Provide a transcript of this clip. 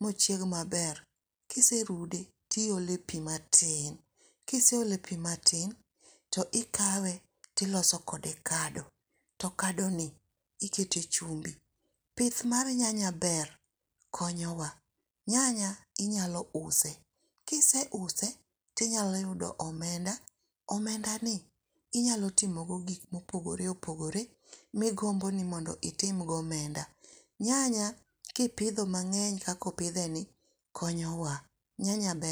mochiegi maber, kiserude tiyole pi matin, kiseole pi matin tikawe tiloso kode kado to kadoni ikete chumbi. Pith mar nyanya ber konyowa, nyanya inyalo use kiseuse tinyalo yudo omenda, omendani inyalo timogodo gik ma opogore opogore mogombo ni mondo itimgo omenda. Nyanya kipithe mang'eny kaka opitheni konyowa nyanya ber